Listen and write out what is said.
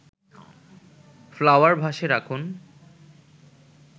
flower vase রাখুন